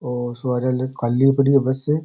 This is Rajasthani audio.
और सवारी खाली पड़ी है बस।